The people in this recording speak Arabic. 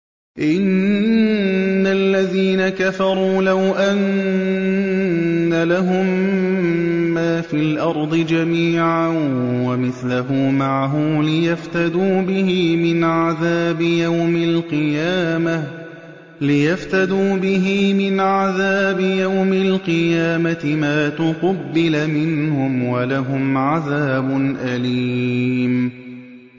إِنَّ الَّذِينَ كَفَرُوا لَوْ أَنَّ لَهُم مَّا فِي الْأَرْضِ جَمِيعًا وَمِثْلَهُ مَعَهُ لِيَفْتَدُوا بِهِ مِنْ عَذَابِ يَوْمِ الْقِيَامَةِ مَا تُقُبِّلَ مِنْهُمْ ۖ وَلَهُمْ عَذَابٌ أَلِيمٌ